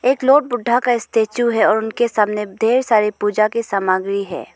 एक लॉर्ड बुद्धा का स्टेचू है और उनके सामने ढेर सारी पूजा की सामग्री है।